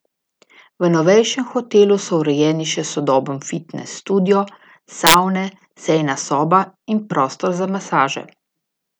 V novejšem hotelu so urejeni še sodoben fitnes studio, savne, sejna soba in prostor za masaže.